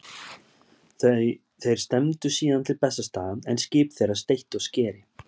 Þeir stefndu síðan til Bessastaða en skip þeirra steytti á skeri.